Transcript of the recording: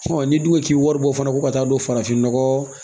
n'i dun k'i wari bɔ fana ko ka taa don farafinnɔgɔ